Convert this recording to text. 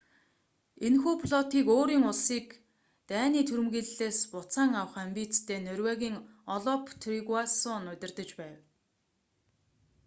энэхүү флотыг өөрийн улсыг даний түрэмгийллээс буцаан авах амбицтай норвегийн олаф тригвассон удирдаж байв